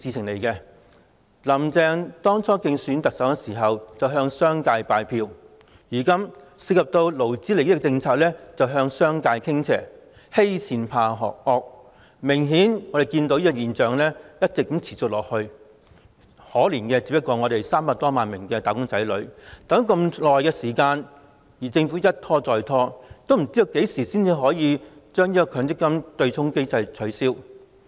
"林鄭"當初競選特首時向商界拜票，現在涉及勞資利益的政策便向商界傾斜，欺善怕惡，這種現象顯然會一直持續下去，可憐的是300多萬名"打工仔女"，等了那麼久，政府卻一拖再拖，不知道何時才能取消強積金對沖機制。